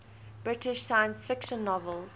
british science fiction novels